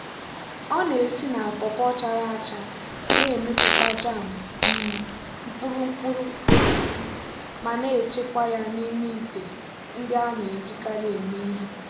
ọ na-esi na pawpaw chara acha na-emepụta jam um mkpụrụ mkpụrụ osisi ma na-echekwa ya n'ime ite ndị a na-ejikarị eme ihe.